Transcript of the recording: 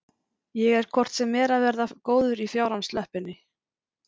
Ég er hvort sem er að verða góður í fjárans löppinni.